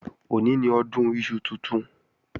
Òní ni Ọdún iṣu tuntun